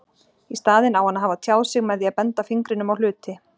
Í staðinn á hann að hafa tjáð sig með því að benda fingrinum á hluti.